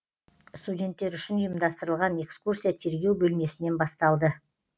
студенттер үшін ұйымдастырылған экскурсия тергеу бөлмесінен басталды